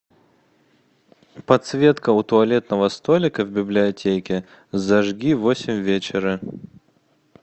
подсветка у туалетного столика в библиотеке зажги в восемь вечера